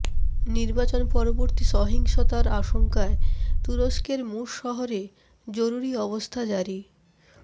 নির্বাচন পরবর্তী সহিংসতার আশঙ্কায় তুরস্কের মুশ শহরে জরুরি অবস্থা জারি